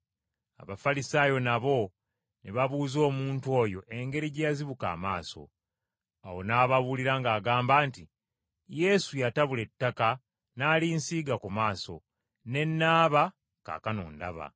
Abafalisaayo nabo ne babuuza omuntu oyo engeri gye yazibuka amaaso. Awo n’ababuulira ng’agamba nti, “Yesu yatabula ettaka n’alinsiiga ku maaso, ne naaba, kaakano ndaba.”